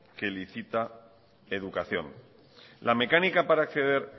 que licita educación la mecánica para acceder